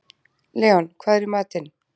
Leon, hvað er í matinn?